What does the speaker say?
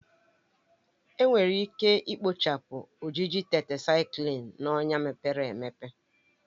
Enwere ike ikpochapụ ojiji Tetrasaiklin na ọnya mepere emepe